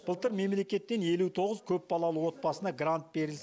былтыр мемлекеттен елу тоғыз көпбалалы отбасына грант берілсе